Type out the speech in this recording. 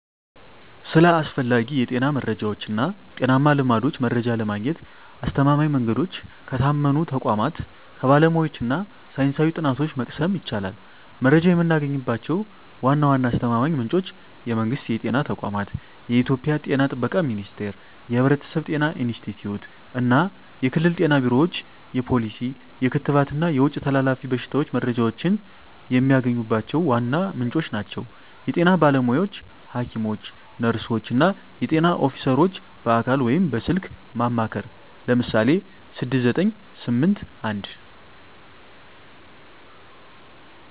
ስለ አስፈላጊ የጤና መረጃዎች እና ጤናማ ልማዶች መረጃ ለማግኘት አስተማማኝ መንገዶች ከታመኑ ተቋማት፣ ከባለሙያዎች እና ሳይንሳዊ ጥናቶች መቅሰም ይቻላል። መረጃ የምናገኝባቸው ዋና ዋና አስተማማኝ ምንጮች የመንግስት የጤና ተቋማት: የኢትዮጵያ ጤና ጥበቃ ሚኒስቴር፣ የሕብረተሰብ ጤና ኢንስቲትዩት፣ እና የክልል ጤና ቢሮዎች የፖሊሲ፣ የክትባት እና የውጭ ተላላፊ በሽታዎች መረጃዎችን የሚያገኙባቸው ዋና ምንጮች ናቸው። የጤና ባለሙያዎች: ሐኪሞች፣ ነርሶች፣ እና የጤና ኦፊሰሮች በአካል ወይም በስልክ ማማከር (ለምሳሌ 6981)።